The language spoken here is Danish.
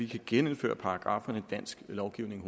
kan genindføre paragrafferne i dansk lovgivning